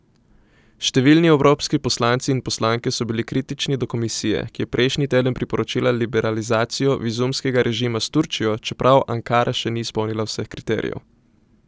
Številni evropski poslanci in poslanke so bili kritični do komisije, ki je prejšnji teden priporočila liberalizacijo vizumskega režima s Turčijo, čeprav Ankara še ni izpolnila vseh kriterijev.